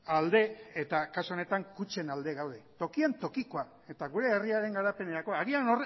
alde eta kasu honetan kutxen alde gaude tokian tokikoa eta gure herriaren garapenerako agian